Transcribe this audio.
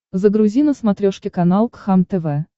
загрузи на смотрешке канал кхлм тв